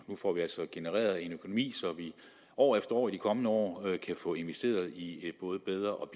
nu får vi altså genereret en økonomi så vi år efter år i de kommende år kan få investeret i en både bedre